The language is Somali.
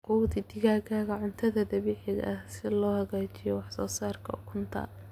Quudi digaagga cuntada dabiiciga ah si loo hagaajiyo wax soo saarka ukunta.